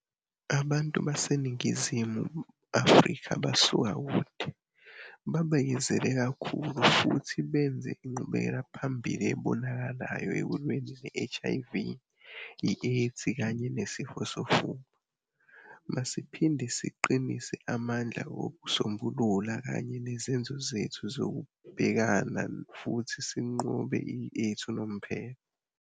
Abantu baseNingizimu Afrika basuka kude, babekezele kakhulu futhi benze inqubekelaphambili ebonakalayo ekulweni ne-HIV, i-AIDS kanye neSifo sofuba. Masiphinde siqinise amandla okusombulula kanye nezenzo zethu zokubhekana futhi sinqobe i-AIDS unomphela.